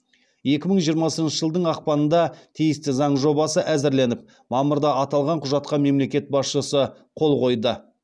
екі мың жиырмасыншы жылдың ақпанында тиісті заң жобасы әзірленіп мамырда аталған құжатқа мемлекет басшысы қол қойды